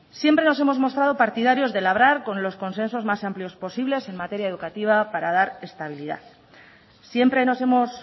siempre nos hemos mostrado partidarios de labrar con los consensos más amplios posibles en materia educativa para dar estabilidad siempre nos hemos